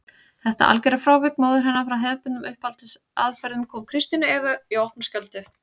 Þetta algjöra frávik móður hennar frá hefðbundnum uppeldisaðferðum kom Kristínu Evu í opna skjöldu.